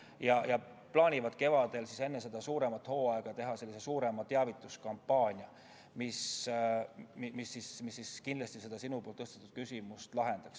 Ministeerium plaanib kevadel enne suuremat hooaega teha sellise suurema teavituskampaania, mis kindlasti sinu tõstatatud küsimuse lahendab.